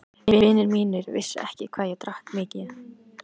Vinir mínir vissu ekki hvað ég drakk mikið.